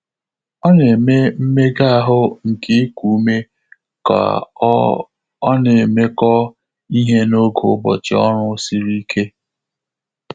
Ọ́ nà-émé mméga áhụ́ nké íkù úmé kà ọ́ ọ́ nà-émékọ́ íhé n’ógè ụ́bọ̀chị̀ ọ́rụ́ sìrì íké.